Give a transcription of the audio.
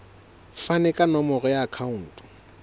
fane ka nomoro ya akhauntu